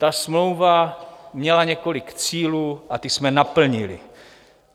Ta smlouva měla několik cílů a ty jsme naplnili.